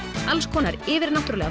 alls konar yfirnáttúrulega